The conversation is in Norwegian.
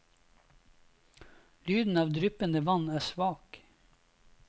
Lyden av dryppende vann er svak.